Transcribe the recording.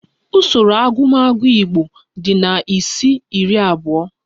Usoro ọgụgụ igbo di na isi-iri abụọ